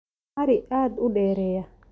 Ari aad u dheereeya.